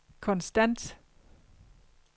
konstant